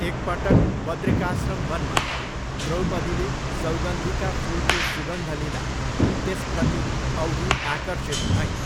एकपटक बद्रिकाश्रम वनमा द्रौपदीले सौगन्धिका फुलको सुगन्ध लिँदा त्यसप्रति औधी आकर्षित भइन्।